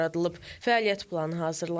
Fəaliyyət planı hazırlanıb.